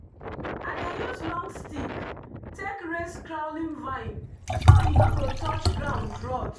i dey use long stick take raise crawling vine so e no go touch ground rot.